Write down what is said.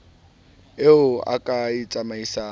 eo o ka e tsamaisang